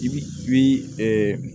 I bi i bi